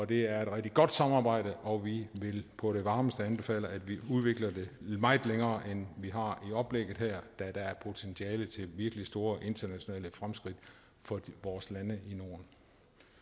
det er et rigtig godt samarbejde og vi vil på det varmeste anbefale at vi udvikler det meget længere end vi har forestillet i oplægget her da der er et potentiale til virkelig store internationale fremskridt for vores lande